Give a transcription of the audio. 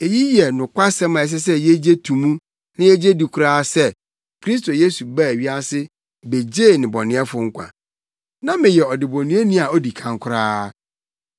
Eyi yɛ nokwasɛm a ɛsɛ sɛ yegye to mu na yegye di koraa sɛ: Kristo Yesu baa wiase begyee nnebɔneyɛfo nkwa. Na meyɛ ɔdebɔneyɛni a odi kan koraa.